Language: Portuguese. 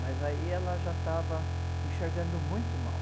Mas aí ela já estava enxergando muito mal.